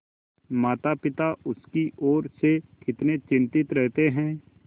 मातापिता उसकी ओर से कितने चिंतित रहते हैं